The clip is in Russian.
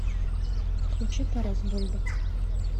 включи тарас бульба